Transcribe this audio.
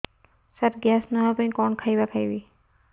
ସାର gas ନ ହେବା ପାଇଁ କଣ ଖାଇବା ଖାଇବି